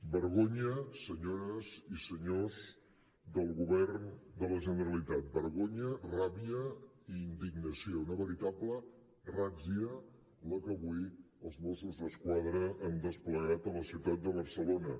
vergonya senyores i senyors del govern de la generalitat vergonya ràbia i indignació una veritable ràtzia la que avui els mossos d’esquadra han desplegat a la ciutat de barcelona